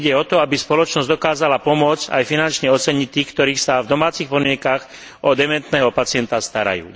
Ide o to, aby spoločnosť dokázala pomôcť aj finančne oceniť tých, ktorí sa v domácich podmienkach o dementného pacienta starajú.